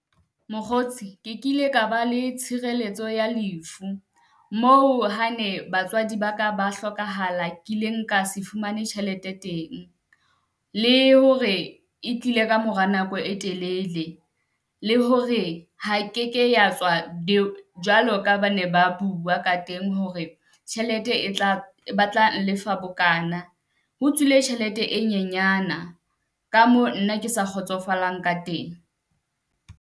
Mokgotsi ke kile ka ba le tshireletso ya lefu, moo hane batswadi ba ka ba hlokahala kileng ka se fumane tjhelete teng, le hore e tlile ka mora nako e telele. Le hore ha ke ke ya tswa jwalo ka ba ne ba bua ka teng hore tjhelete e tla ba tlanh lefa bokana. Ho tswile tjhelete e nyenyana ka moo nna ke sa kgotsofalang ka teng.